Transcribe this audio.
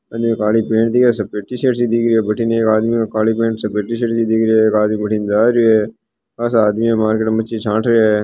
एक काली पेंट है सफ़ेद सी टीशर्ट दिख रही है बठीने एक आदमी ने काली टीशर्ट एक आदमी बठीने जा रहियो है खासा आदमी मार्केट आ रहियो है।